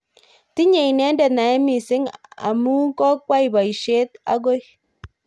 Tinye inendet naet missing amu kokwai boishet akoi.